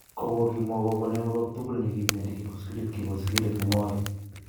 Kobo kimwa kobo ne mebok tugul ne kibendi kibo sigilet kibo sigilet nemoi.